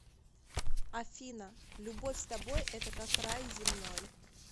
афина любовь с тобой это как рай земной